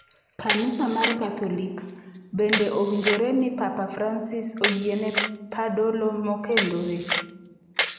Kanisa mar Katholik: Bende owinjore ni Papa Francis oyiene padolo mokendore?